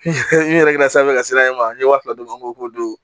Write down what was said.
N yɛrɛ sanfɛ ka sira in ma n ye wa fila d'o ma n ko ko don